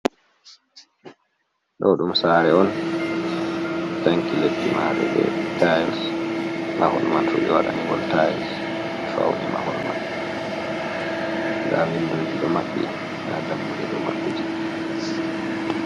Ɗo ɗum sare on ɓe tanki leddi mare be tayils, mahol man fu ɓe waɗanigol tayils ɓe fauni mahol man. Nda windoji ɗo maɓɓi, nda dammuɗe ɗo maɓɓiti.